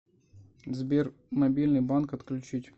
сбер мобильный банк отключить